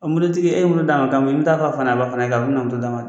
mototigi e ye moto d'a ma k'a fɔ e bɛ taa a fɔ a fa n'a ba fana ye k'a fɔ e bɛna moto d'a ma